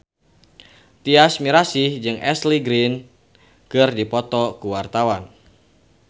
Tyas Mirasih jeung Ashley Greene keur dipoto ku wartawan